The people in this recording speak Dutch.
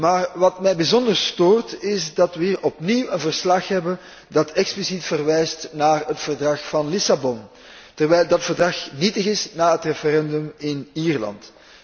Maar wat mij bijzonder stoort, is dat we hier opnieuw een verslag hebben dat expliciet verwijst naar het Verdrag van Lissabon, terwijl dat verdrag nietig is na het referendum in Ierland.